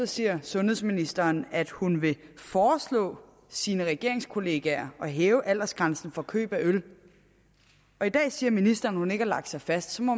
siger sundhedsministeren at hun vil foreslå sine regeringskollegaer at hæve aldersgrænsen for køb af øl og i dag siger ministeren at hun ikke har lagt sig fast så må